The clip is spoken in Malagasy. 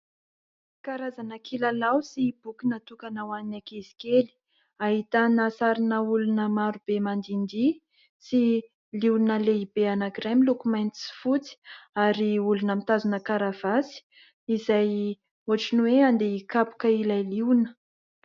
Karazana kilalao sy boky natokana ho an'ny ankizy kely, ahitana sarina olona maro be mandihindihy sy liona lehibe anankiray miloko mainty sy fotsy ary olona mitazona karavasy izay ohatran'ny hoe andeha hikapoka ilay liona.